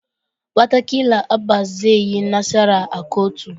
Wataƙila Abba zai yi nasara a kotu